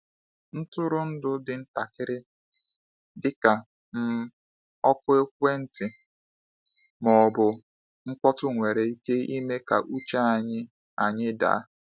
Ntụrụndụ dị ntakịrị — dịka um oku ekwentị ma ọ bụ mkpọtụ-nwere ike ime ka uche anyị anyị daa.